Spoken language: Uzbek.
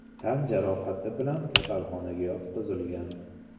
tan jarohati bilan kasalxonaga yotqizilgan.